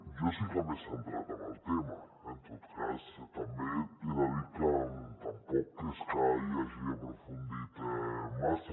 jo sí que m’he centrat en el tema eh en tot cas també he de dir que tampoc és que ell hi hagi aprofundit massa